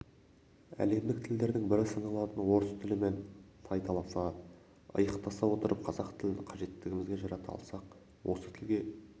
әлемдік тілдердің бірі саналатын орыс тілімен тайталаса иықтаса отырып қазақ тілін қажетімізге жарата алсақ осы тілге